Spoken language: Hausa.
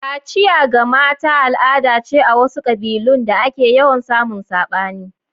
Kaciya ga mata al'ada ce a wasu kabilun da ake yawan samun sabani.